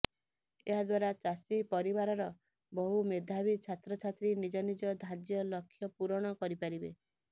ଏହାଦ୍ବାରା ଚାଷୀ ପରିବାରର ବହୁ ମେଧାବୀ ଛାତ୍ରଛାତ୍ରୀ ନିଜ ନିଜ ଧାର୍ଯ୍ୟ ଲକ୍ଷ୍ୟ ପୂରଣ କରିପାରିବେ